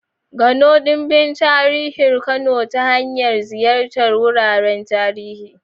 Gano dimbin tarihin Kano ta hanyar ziyartar wuraren tarihi.